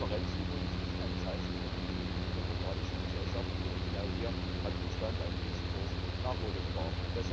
Transparenz ist übrigens ein Zeichen von entwickelten, demokratischen Gesellschaften, und genau hier hat Russland einen riesengroßen Nachholbedarf.